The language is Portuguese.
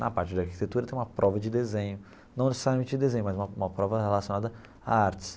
Na parte da arquitetura tem uma prova de desenho, não necessariamente de desenho, mas uma uma prova relacionada à artes.